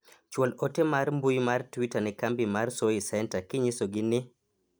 chwal ote mar mbui mar twita ne kambi mar soy center kinyiso gi ni